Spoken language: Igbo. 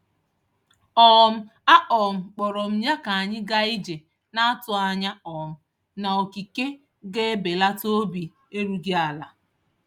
um A um kpọrọ m ya ka anyị gaa ije, na-atụ anya um na okike ga-ebelata obi erughị ala.